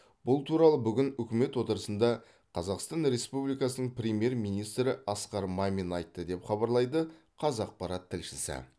бұл туралы бүгін үкімет отырысында қазақстан республикасының премьер министрі асқар мамин айтты деп хабарлайды қазақпарат тілшісі